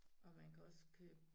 Og man kan også købe